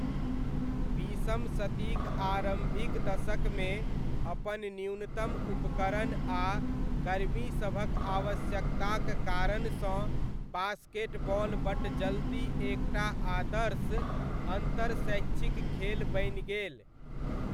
बीसम शतीक आरम्भिक दशकमे, अपन न्यूनतम उपकरण आ कर्मीसभक आवश्यकताक कारणसँ बास्केटबॉल बड्ड जल्दी एक टा आदर्श अन्तर शैक्षिक खेल बनि गेल।